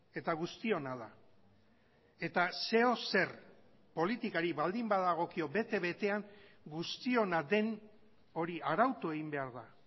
eta guztiona da eta zeozer politikari baldin badagokio bete betean guztiona den hori arautu egin behar da